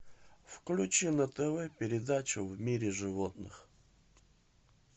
включи на тв передачу в мире животных